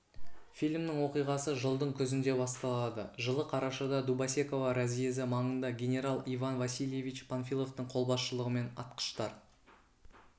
фильмнің оқиғасы жылдың күзінде басталады жылы қарашада дубосеково разъезі маңында генерал иван васильевич панфиловтың қолбасшылығымен атқыштар